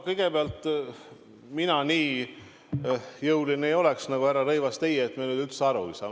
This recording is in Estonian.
Kõigepealt, mina nii jõuline ei oleks nagu härra Rõivas, teie, kui te ütlete, et me üldse aru ei saa.